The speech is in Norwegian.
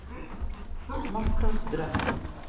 Marta Strøm